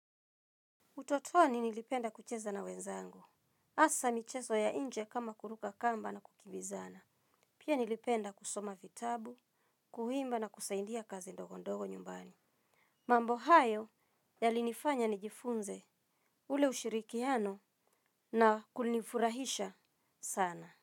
Utotoni nilipenda kucheza na wenzangu. Asa micheso ya inje kama kuruka kamba na kukimbizana. Pia nilipenda kusoma vitabu, kuimba na kusaidia kazi ndogo ndogo nyumbani. Mambo hayo yalinifanya nijifunze ule ushirikiano na kulinifurahisha sana.